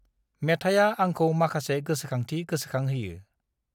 मेथाया आंखौ माखासे गोसोखांथि गोसोखांहोयो।